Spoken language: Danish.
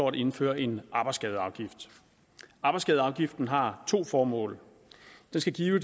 at indføre en arbejdsskadeafgift arbejdsskadeafgiften har to formål den skal give